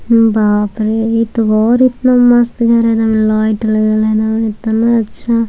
बाप रे इ तो और इतना मस्त घर हई एकदम लाइट लगल हई